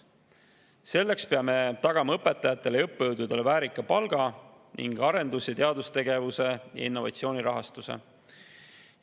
Selleks peame tagama õpetajatele ja õppejõududele väärika palga ning arendus- ja teadustegevuse ja innovatsiooni rahastuse.